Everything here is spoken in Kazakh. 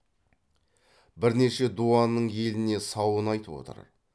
бірнеше дуанның еліне сауын айтып отыр